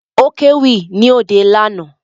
Ó kéwì ní òde lánàá